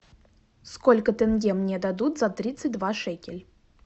сколько тенге мне дадут за тридцать два шекель